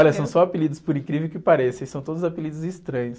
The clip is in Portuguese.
Olha, são só apelidos, por incrível que pareça, e são todos apelidos estranhos.